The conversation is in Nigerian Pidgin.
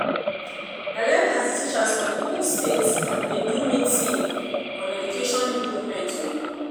I like as the teachers for the whole state dey do meeting on education improvements oo